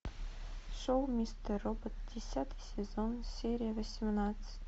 шоу мистер робот десятый сезон серия восемнадцать